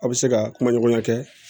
Aw bɛ se ka kuma ɲɔgɔnya kɛ